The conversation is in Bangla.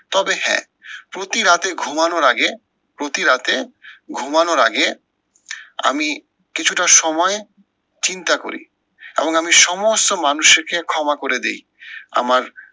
তবে হ্যাঁ, প্রতি রাতে ঘুমানোর আগে প্রতি রাতে ঘুমানোর আগে আমি কিছুটা সময় চিন্তা করি। এবং আমি সমস্ত মানুষকে ক্ষমা করে দেই। আমার